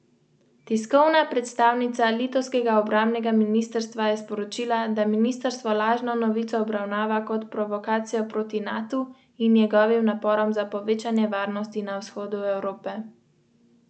Mislim, da je zelo pomembno, sploh če bo reprezentanca prišla do vrhunskega rezultata.